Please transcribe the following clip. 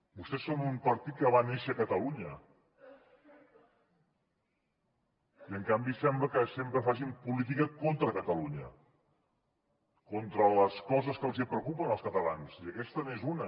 vostès són un partit que va néixer a catalunya i en canvi sembla que sempre facin política contra catalunya contra les coses que els preocupen als catalans i aquesta n’és una